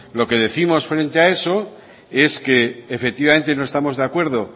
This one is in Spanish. lo que décimos frente a eso es que efectivamente no estamos de acuerdo